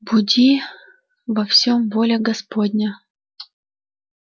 буди во всём воля господня